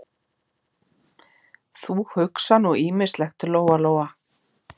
Þú hugsar nú ýmislegt, Lóa-Lóa.